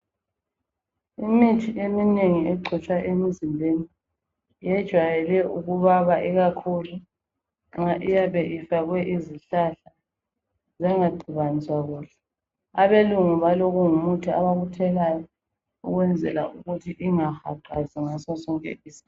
Imithi eminengi egcotshwa emizimbeni yejwayele ukubaba, ikakhulu nxa iyabe ifakwe izihlahla zangaxutshaniswa kuhle. Abelungu balokungumuthi abakuthelayo ukwenzela ukuthi ingahaqazi ngaso sonke isikhathi.